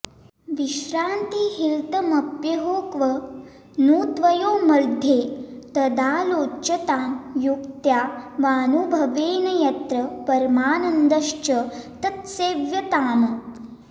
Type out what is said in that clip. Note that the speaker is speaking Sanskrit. विश्रान्तिर्हितमप्यहो क्व नु त्वयोर्मध्ये तदालोच्यतां युक्त्या वानुभवेन यत्र परमानन्दश्च तत्सेव्यताम्